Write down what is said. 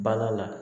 Bala la